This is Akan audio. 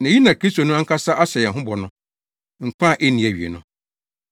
Na eyi na Kristo no ankasa ahyɛ yɛn ho bɔ no, nkwa a enni awiei no.